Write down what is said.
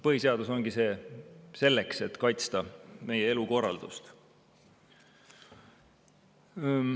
Põhiseadus ongi selleks, et kaitsta meie elukorraldust.